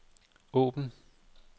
åbn